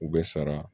U bɛ sara